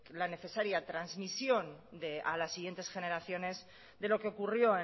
la necesaria transmisión de a las siguientes generaciones de lo que ocurrió